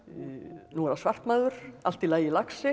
nú er það svart maður allt í lagi